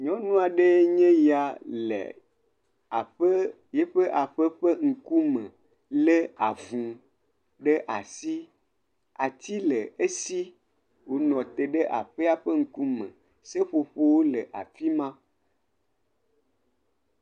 Nyɔnu aɖee nye ya le aƒe yiƒe aƒe ƒe ŋkume le avu ɖe asi. Ati le esi wonɔ te ɖe aƒea ƒe ŋkume. Seƒoƒowo le afi ma.